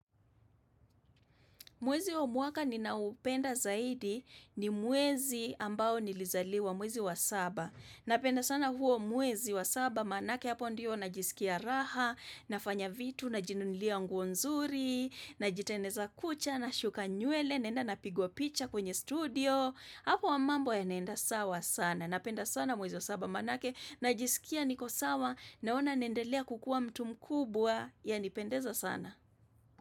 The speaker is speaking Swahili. Mwezi wa mwaka ninaoupenda zaidi ni mwezi ambao nilizaliwa mwezi wa saba. Napenda sana huo mwezi wa saba manake hapo ndiyo najisikia raha, nafanya vitu na jinunilia nguo nzuri, najitingeneza kucha, na shuka nywele, naenda napigwa picha kwenye studio. Hapo ya mambo yanaenda sawa sana. Napenda sana mwezi wa saba manake, najisikia niko sawa, naona naendelea kukuwa mtu mkubwa yanipendeza sana.